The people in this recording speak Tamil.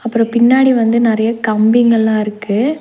அப்றோ பின்னாடி வந்து நறைய கம்பிங்கலா இருக்கு.